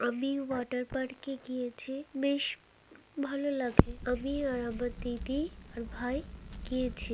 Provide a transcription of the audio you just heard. আমি ওয়াটার পার্কে গিয়েছে বেশ ভালো লাগে ।আমি আর আমার দিদি আর ভাই গিয়েছি।